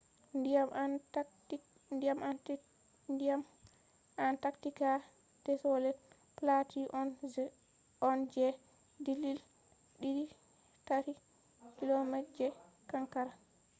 ndiyam antaktika desolet platu on je dillil 2-3km je kankara